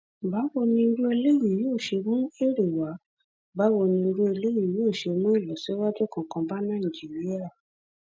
báwo ni irú eléyìí yóò ṣe mú èrè wá báwo ni irú eléyìí yóò ṣe mú ìlọsíwájú kankan bá nàìjíríà